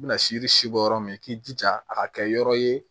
I bɛna siri si bɔ yɔrɔ min k'i jija a ka kɛ yɔrɔ ye